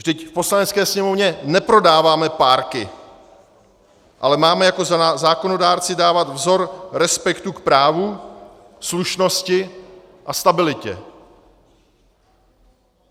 Vždyť v Poslanecké sněmovně neprodáváme párky, ale máme jako zákonodárci dávat vzor respektu k právu, slušnosti a stabilitě.